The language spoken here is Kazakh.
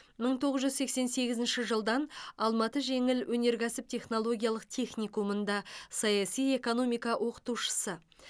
мың тоғыз жүз сексен сегізінші жылдан алматы жеңіл өнеркәсіп технологиялық техникумында саяси экономика оқытушысы